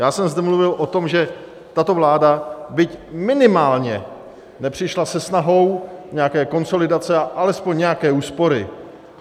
Já jsem zde mluvil o tom, že tato vláda, byť minimálně, nepřišla se snahou nějaké konsolidace a alespoň nějaké úspory.